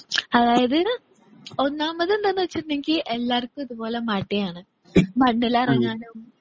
അതായത് ഒന്നാമത് എന്താന്ന് വെച്ചിട്ടുണ്ടെങ്കിൽ എല്ലാവർക്കും ഇതുപോലെ മടിയാണ്. മണ്ണിലിറങ്ങാനും